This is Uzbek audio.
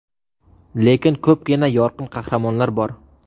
Lekin ko‘pgina yorqin qahramonlar bor.